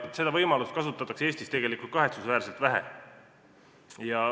Seda võimalust kasutatakse Eestis tegelikult kahetsusväärselt vähe.